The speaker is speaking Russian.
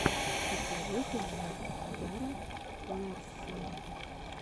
посоветуй мне зара ларссон